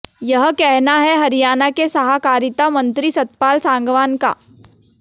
यह कहना है हरियाणा के सहाकारिता मंत्री सतपाल सांगवान का